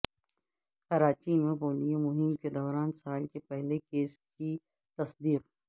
کراچی میں پولیو مہم کے دوران سال کے پہلے کیس کی تصدیق